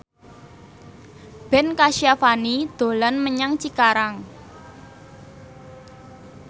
Ben Kasyafani dolan menyang Cikarang